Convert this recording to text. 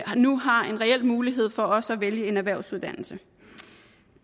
nu har en reel mulighed for også at vælge en erhvervsuddannelse